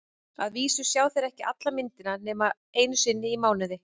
Að vísu sjá þeir ekki alla myndina nema einu sinni í mánuði.